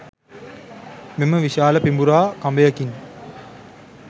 මෙම විශාල පිඹුරා කඹයකින්